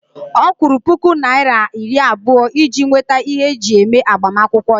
Ọ kwụrụ puku naira iri abụọ iji nweta ihe eji eme agbamakwụkwọ ya